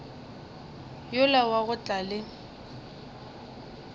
yola wa go tla le